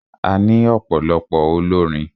A ní ọ̀pọ̀lọpọ̀ olórin.